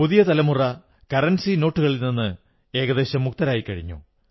പുതിയ തലമുറ രൂപാനോട്ടുകളിൽ നിന്ന് ഏകദേശം മുക്തരായിക്കഴിഞ്ഞു